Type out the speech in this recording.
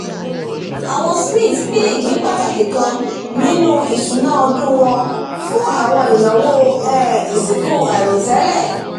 àwọn smiths pín ìpín pàtàkì kan nínú ìṣúná ọdún wọn fún àwọn ináwó um ìsìnkú àìròtẹ́lẹ̀